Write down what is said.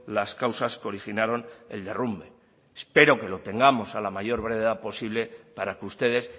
las causas que originaron el derrumbe espero que lo tengamos a la mayor brevedad posible para que ustedes